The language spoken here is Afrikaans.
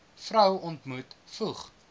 vrou ontmoet voeg